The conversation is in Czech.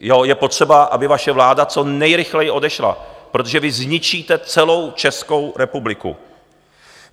Je potřeba, aby vaše vláda co nejrychleji odešla, protože vy zničíte celou Českou republiku.